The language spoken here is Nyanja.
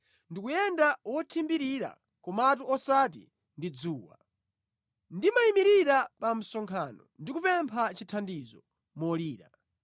Ndikuyenda wothimbirira, komatu osati ndi dzuwa; ndimayimirira pa msonkhano ndi kupempha chithandizo molira.